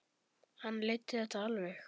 Hann leiddi þetta alveg.